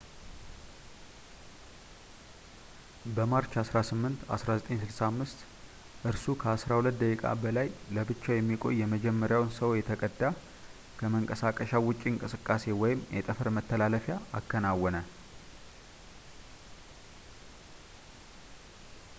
በማርች 18 1965 እርሱ ከአስራ ሁለት ደቂቃ በላይ ለብቻው የሚቆይ የመጀመሪያውን ሰው የተቀዳ ከመንቀሳቀሻው ውጪ እንቅስቃሴ ወይም የጠፈር መተላለፊያ አከናወነ